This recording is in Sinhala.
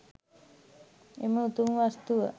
එම උතුම් වස්තුව